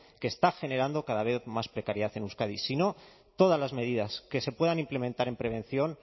que está generando cada vez más precariedad en euskadi sino todas las medidas que se puedan implementar en prevención